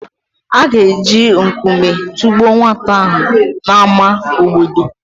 A ga-eji nkume tụgbuo nwata ahụ n’ámá obodo.